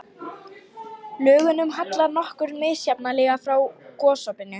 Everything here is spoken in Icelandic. Lögunum hallar nokkuð misjafnlega frá gosopinu.